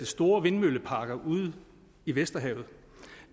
store vindmølleparker ude i vesterhavet